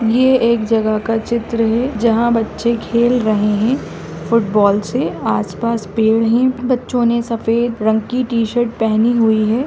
ये एक जगह का चित्र है जहां बच्चे खेल रहे है फुटबॉल से आस-पास पेड़ है बच्चों ने सफेद रंग की टी-शर्ट पहनी हुई है।